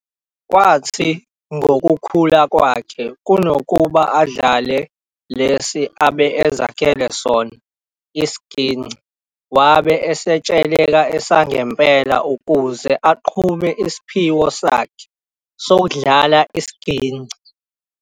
Kwathi ngokukhula kwakhe kunokuba adlale lesi abe ezakhele sona isigingci wabe estsheleka esangempela ukuze aqhube isiphiwo sakhe sokudlala isigingci.